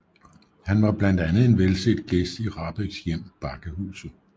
Han var blandt andet en velset gæst i Rahbeks hjem Bakkehuset